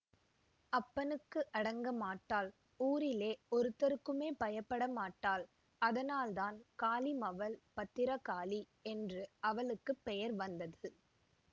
அப்பனுக்கு அடங்கமாட்டாள் ஊரிலே ஒருத்தருக்குமே பயப்பட மாட்டாள் அதனால்தான் காளிமவள் பத்திரகாளி என்று அவளுக்கு பெயர் வந்தது